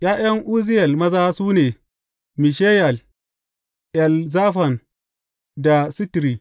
’Ya’yan Uzziyel maza, su ne, Mishayel, Elzafan da Sitri.